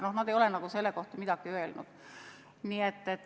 Ja nad ei ole selle kohta midagi öelnud.